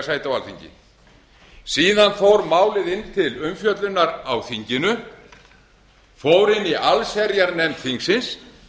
sæti á alþingi síðan fór málið inn til umfjöllunar á þinginu fór í allsherjarnefnd þingsins